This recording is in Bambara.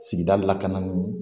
Sigida lakananin